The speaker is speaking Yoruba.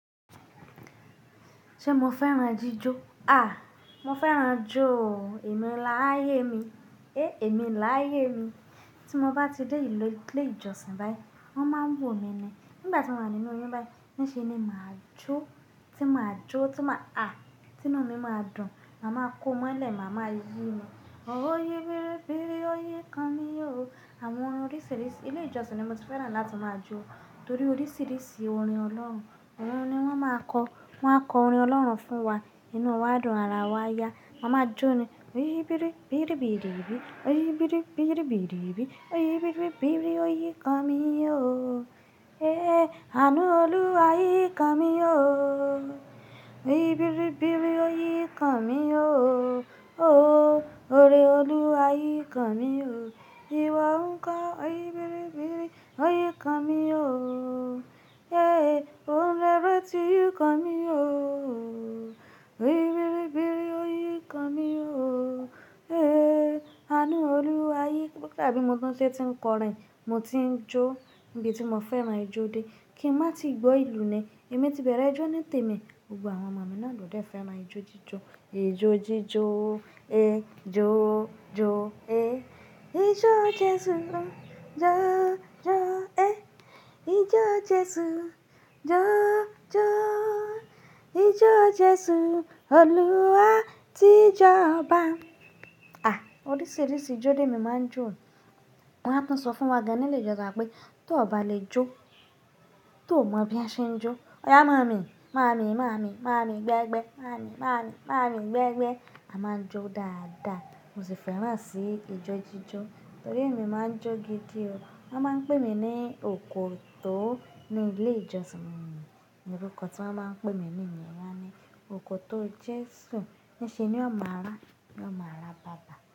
Ṣé mo fẹ́ràn jíjó? À, mo fẹ́ràn jóò, èmi láyé mi. Èmi láyé mi. Tí mo bá ti dé ilé, ilé ìjọsìn báyìí, wọ́n máa ń wò ni ni. Nígbà tí mo wà nínú oyún báyìí, ní ṣe ni màá jó, tí màá jó, tí màá à, tinu mi máa dùn, màá máa kó mọ́lẹ̀, màá máa yí ní, ó yí bíríbírí ó ýi kan mío. Àwọn orin oríṣìíríṣìí ilé ìjọsìn ni mo ti fẹ́ràn láti máa jó, torí oríṣìíríṣìí orin Ọlọ́run, òun ni wọ́n máa kọ, wọ́n á kọ orin Ọlọ́run fún wa. Nínú wa dùn, ara wa yá, Mà a máa jó ni. Ó ýi biri biri biri biri, ó ýi biri biri biri biri, ó ýi biri biri o yi Kan mi o Aanu oluwa yi Kan mi o ó ýi biri biri o yi Kan mi o ooo oore oluwa yi Kan mi o Bí won ṣe ti ń kọrin, mo ti ń jó. Ibi tí mo fẹ́ràn ijó dé, kí n má tí gbọ́ ìlú ni. Èmi ti bẹ̀rẹ̀ ijó ní tèmi, gbogbo àwọn ọmọmi náà lòde fẹ́ràn ijó jíjó. À, oríṣìíríṣìí ijó lémi máa ń jó. Wọ́n á tún sọ fún wa gan ní ilé ìjọsìn wa pé tó ọ̀ba lè jó, tó ò mọ bí a ṣe ń jó. Ọ̀yá màámi, màámi, màámi, màámi gbẹ́gbẹ́, màámi, màámi, màámi gbẹ́gbẹ́. A máa ń jó dáadáa. Mo sì fẹ́ràn sí ijó jíjó, torí èmi máa ń jó gidi o. Wọ́n máa ń pè mí ní òkòtó ní ilé ìjọsìn mi. Ni orúkọ tí wọ́n bá ń pè mí ní won á ni, òkòtó Jésù. Ní ṣe ni ó máa rà, ni ó máa rà baba.